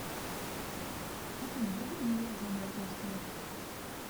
афина вруби музыку жанра русский рэп